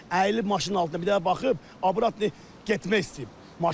Əyilib maşının altında bir dənə baxıb, abrut deyib getmək istəyib.